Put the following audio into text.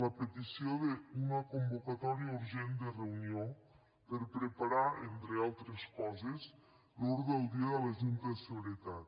la petició d’una convocatòria urgent de reunió per preparar entre altres coses l’ordre del dia de la junta de seguretat